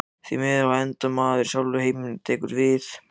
Því hvar endar maður sjálfur og heimurinn tekur við?